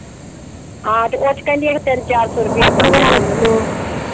ਹਾਂ ਤੇ ਕੁਛ ਕਹਿੰਦੀ ਅਖ਼ੇ ਤਿੰਨ ਚਾਰ ਸੌ ਰੁਪਈਆ ਬਣ ਜਾਂਦਾ।